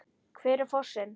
Hver er fossinn?